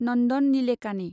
Nandan Nilekani